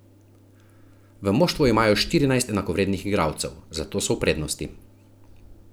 V moštvu imajo štirinajst enakovrednih igralcev, zato so v prednosti.